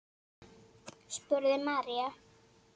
spurði María.